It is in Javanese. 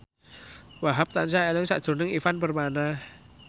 Wahhab tansah eling sakjroning Ivan Permana